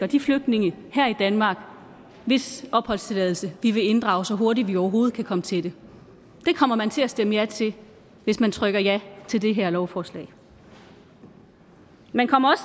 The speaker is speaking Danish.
de flygtninge her i danmark hvis opholdstilladelse vi vil inddrage så hurtigt vi overhovedet kan komme til det det kommer man til at stemme ja til hvis man trykker ja til det her lovforslag man kommer